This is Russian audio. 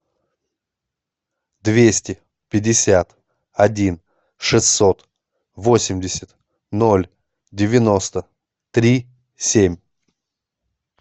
двести пятьдесят один шестьсот восемьдесят ноль девяносто три семь